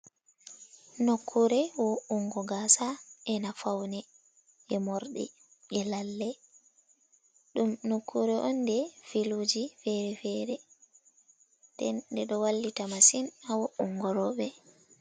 Nokkuure wo’ungo gaasa ena fawne jey morɗi bee lalle ɗum nokkuure on nde filuuji feere-feere ndende ɗo wallita masin haa wo’ungo rooɓe.